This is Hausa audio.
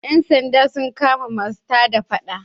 Yan sanda sun kama masu tada Faɗa.